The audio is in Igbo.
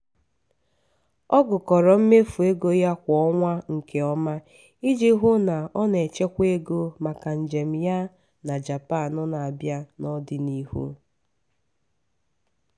ọ gụkọrọ mmefu ego ya kwa ọnwa nke ọma iji hụ na o na-echekwa ego maka njem ya na japan n'abia n'ọdịnihu.